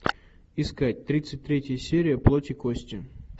искать тридцать третья серия плоть и кости